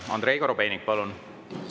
Andrei Korobeinik, palun!